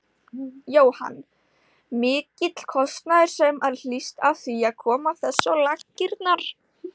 Jóhann: Mikill kostnaður sem að hlýst af því að koma þessu á laggirnar?